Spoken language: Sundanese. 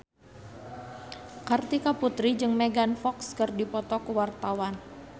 Kartika Putri jeung Megan Fox keur dipoto ku wartawan